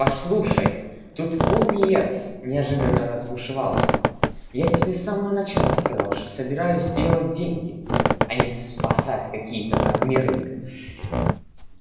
послушай тут пониетс неожиданно разбушевался я тебе с самого начала сказал что собираюсь делать деньги а не спасать какие-то там миры